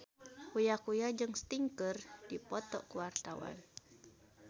Uya Kuya jeung Sting keur dipoto ku wartawan